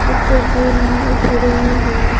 इस तस्वीर में एक घडी भी है ।